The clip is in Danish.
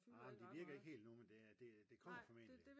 nej men det virker ikke helt endnu men det kommer formentlig